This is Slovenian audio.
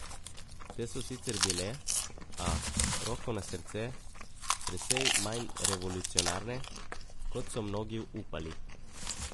Te so sicer bile, a, roko na srce, precej manj revolucionarne, kot so mnogi upali.